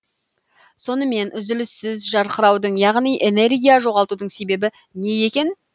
сонымен үзіліссіз жарқыраудың яғни энергия жоғалтудың себебі не екен